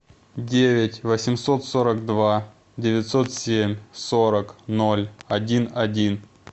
девять восемьсот сорок два девятьсот семь сорок ноль один один